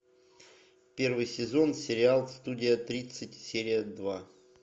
первый сезон сериал студия тридцать серия два